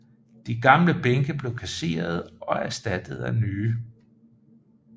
De gamle bænke blev kasserede og erstattet af nye